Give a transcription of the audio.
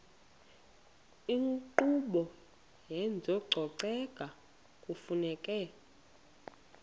inkqubo yezococeko kufuneka